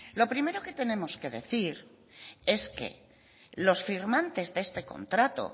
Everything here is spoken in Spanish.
lo primero que tenemos que decir es que los firmantes de ese contrato